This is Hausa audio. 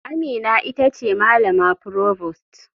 Amina ita ce malama provost.